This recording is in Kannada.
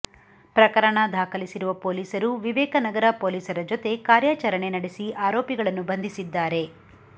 ಪ್ರಕರಣ ದಾಖಲಿಸಿರುವ ಪೊಲೀಸರು ವಿವೇಕನಗರ ಪೊಲೀಸರ ಜೊತೆ ಕಾರ್ಯಾಚರಣೆ ನಡೆಸಿ ಆರೋಪಿಗಳನ್ನು ಬಂಧಿಸಿದ್ದಾರೆ